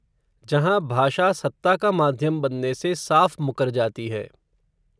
जहाँ भाषा सत्ता का, माध्यम बनने से साफ़ मुकर जाती है